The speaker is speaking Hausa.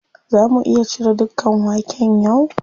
Za mu iya cire dukan waken yau?